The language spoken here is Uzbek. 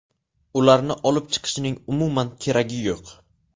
Ularni olib chiqishning umuman keragi yo‘q.